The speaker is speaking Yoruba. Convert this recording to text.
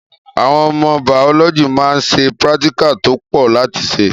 Àwon ọmọ bàọlọjí mà ń sẹ̀ píràtíkà tó pọ láti ṣe